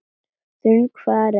Þungu fargi af mér létt.